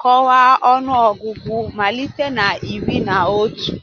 kọwaa ọnụọgụgụ malite na 'iri na otu'.